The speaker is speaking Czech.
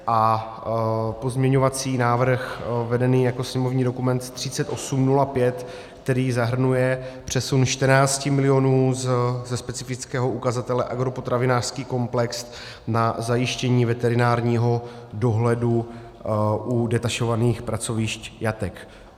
A pozměňovací návrh vedený jako sněmovní dokument 3805, který zahrnuje přesun 14 milionů ze specifického ukazatele agropotravinářský komplex na zajištění veterinárního dohledu u detašovaných pracovišť jatek.